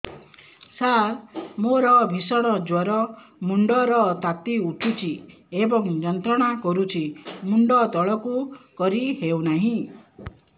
ସାର ମୋର ଭୀଷଣ ଜ୍ଵର ମୁଣ୍ଡ ର ତାତି ଉଠୁଛି ଏବଂ ଯନ୍ତ୍ରଣା କରୁଛି ମୁଣ୍ଡ ତଳକୁ କରି ହେଉନାହିଁ